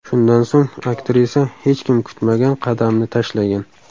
Shundan so‘ng aktrisa hech kim kutmagan qadamni tashlagan.